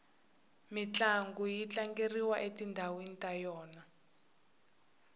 mintlangu yi tlangeriwa etindhawini ta yona